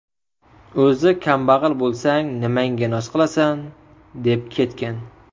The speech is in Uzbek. O‘zi kambag‘al bo‘lsang, nimangga noz qilasan?, deb ketgan.